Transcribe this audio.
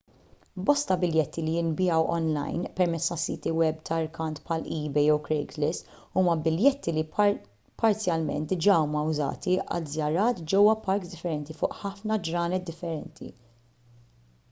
bosta biljetti li jinbiegħu onlajn permezz ta' siti web ta' rkant bħal ebay jew craigslist huma biljetti li parzjalment diġà huma użati għal żjarat ġewwa parks differenti fuq ħafna ġranet differenti